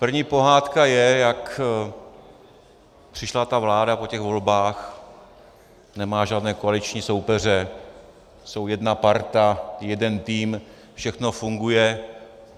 První pohádka je, jak přišla ta vláda po těch volbách, nemá žádné koaliční soupeře, jsou jedna parta, jeden tým, všechno funguje.